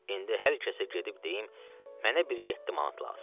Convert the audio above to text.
İndi hər kəsə gedib deyim mənə bir yeddi manat lazımdır.